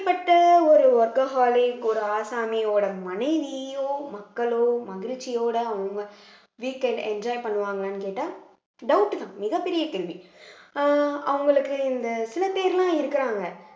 இப்படிப்பட்ட ஒரு workaholic ஒரு ஆசாமியோட மனைவியோ மக்களோ மகிழ்ச்சியோட அவங்க weekend enjoy பண்ணுவாங்களான்னு கேட்டா doubt தான் மிகப்பெரிய கேள்வி அஹ் அவங்களுக்கு இந்த சில பேர் எல்லாம் இருக்கிறாங்க